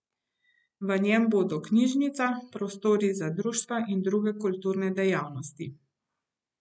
V njem bodo knjižnica, prostori za društva in druge kulturne dejavnosti.